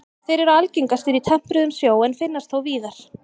Þeir eru algengastir í tempruðum sjó en finnast þó víðar.